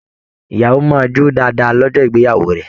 Ìyàwó máa jó dáadáa lọ́jọ́ ìgbéyàwó rẹ̀